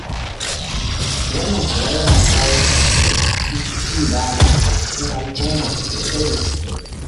Wannan kuwa yana kawo cibaya a cikin al'umma sosai da sosai.